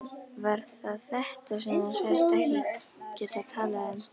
Var það þetta sem þú sagðist ekki geta talað um?